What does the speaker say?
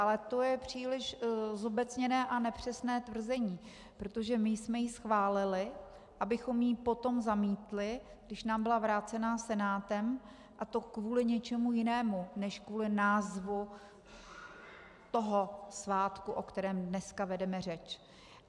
Ale to je příliš zobecněné a nepřesné tvrzení, protože my jsme ji schválili, abychom ji potom zamítli, když nám byla vrácena Senátem, a to kvůli něčemu jinému než kvůli názvu toho svátku, o kterém dneska vedeme řeč.